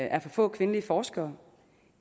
er for få kvindelige forskere